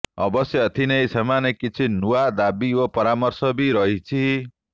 ଅବଶ୍ୟ ଏଥିନେଇ ସେମାନଙ୍କର କିଛି ନୂଆ ଦାବି ଓ ପରାମର୍ଶ ବି ରହିଛି